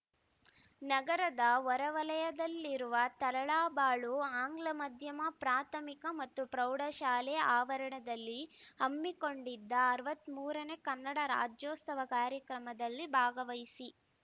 ನಗರದ ಹೊರವಲಯದಲ್ಲಿರುವ ತರಳಬಾಳು ಆಂಗ್ಲ ಮಾಧ್ಯಮ ಪ್ರಾಥಮಿಕ ಮತ್ತು ಪ್ರೌಢಶಾಲೆ ಆವರಣದಲ್ಲಿ ಹಮ್ಮಿಕೊಂಡಿದ್ದ ಅರವತ್ತ್ ಮೂರನೇ ಕನ್ನಡ ರಾಜ್ಯೋತ್ಸವ ಕಾರ್ಯಕ್ರಮದಲ್ಲಿ ಭಾಗವಹಿಸಿ